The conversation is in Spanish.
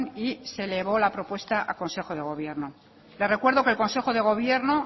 y se elevó la propuesta a consejo de gobierno le recuerdo que el consejo de gobierno